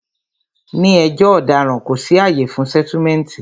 Ní ẹjọ́ ọ̀daràn, kò sí àyè fún sẹ́túmẹ̀ǹtì